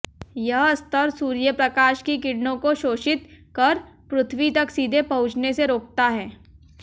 यह स्तर सूर्यप्रकाश की किरणों को शोषित कर पृथ्वी तक सीधे पहुंचने से रोकता है